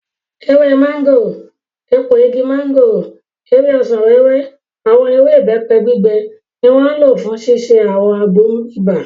Ewé mọ́ngòrò, èpo igi mọ́ngòrò, ewé ọsàn-wẹ́wẹ́, àwọn ewé ìbẹ́pẹ gbígbẹ ni wọ́n lò fún ṣíṣe àwọn àgbo ibà